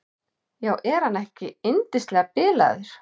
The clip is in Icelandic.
Já, er hann ekki yndislega bilaður.